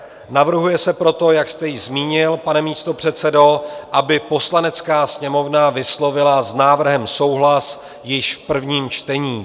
Navrhuje se proto, jak jste již zmínil, pane místopředsedo, aby Poslanecká sněmovna vyslovila s návrhem souhlas již v prvním čtení.